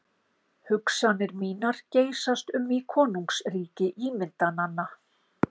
Hugsanir mínar geysast um í konungsríki ímyndananna.